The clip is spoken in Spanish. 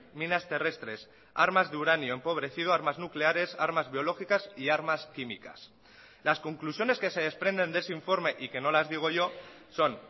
minas terrestres armas de uranio empobrecido armas nucleares armas biológicas y armas químicas las conclusiones que se desprenden de ese informe y que no las digo yo son